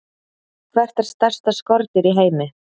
Hvert er stærsta skordýr í heimi?